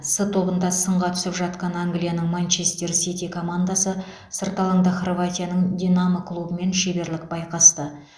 с тобында сынға түсіп жатқан англияның манчестер сити командасы сырт алаңда хорватияның динамо клубымен шеберлік байқасты